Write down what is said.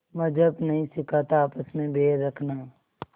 मज़्हब नहीं सिखाता आपस में बैर रखना